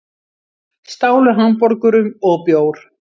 Stálu hamborgurum og bjór